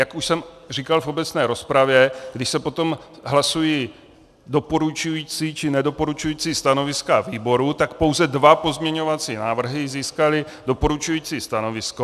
Jak už jsem říkal v obecné rozpravě, když se potom hlasují doporučující či nedoporučující stanoviska výboru, tak pouze dva pozměňovací návrhy získaly doporučující stanovisko.